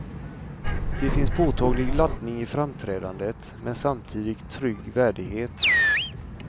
Det finns påtaglig laddning i framträdandet, men samtidigt trygg värdighet.